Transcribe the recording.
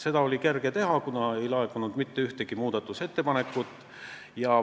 Seda oli kerge teha, kuna ei laekunud mitte ühtegi muudatusettepanekut.